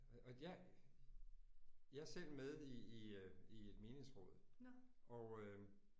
Øh og jeg jeg er selv med i i øh i et menighedsråd og øh